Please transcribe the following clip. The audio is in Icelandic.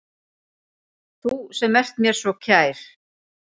Þú sem ert mér svo kær.